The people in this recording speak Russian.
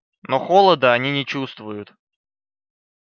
но холода они не чувствуют